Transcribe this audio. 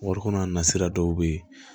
Warikɔron nasira dɔw bɛ yen